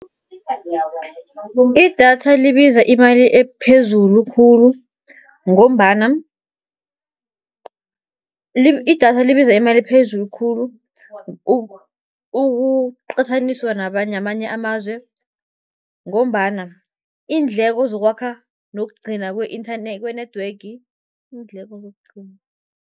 Idatha libiza imali ephezulu khulu, ngombana idatha libiza imali ephezulu khulu ukuqathaniswa namanye amazwe, ngombana iindleko zokwakha nokugcina kwe-network iindleko